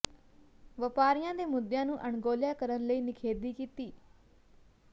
ਵਪਾਰੀਆਂ ਦੇ ਮੁੱਦਿਆਂ ਨੂੰ ਅਣਗੌਲਿਆ ਕਰਨ ਲਈ ਨਿਖੇਧੀ ਕੀਤੀ